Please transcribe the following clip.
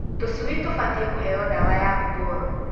Tũcui tũbatiĩ kũheo ndawa ya nguboro.